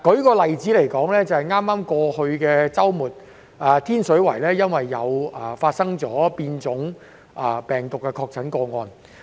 舉例而言，在剛剛過去的周末，天水圍出現了變種病毒確診個案。